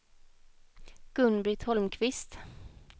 Gun-Britt Holmqvist